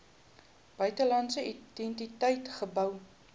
buitelandse entiteit gehou